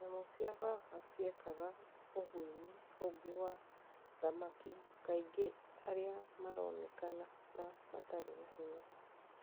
Nyamũ cia papa ciekaga ũguĩmi ũngi wa thamaki kaingi aria maraonekana ta matarĩ na hinya